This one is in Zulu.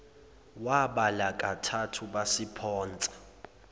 wabala kathathu basiphonsa